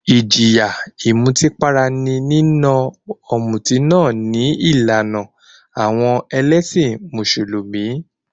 Ìjìyà ìmutípara ní nína ọ̀mùtí náà ní ìlànà àwọn ẹlẹ́sìn Mùsùlùmí.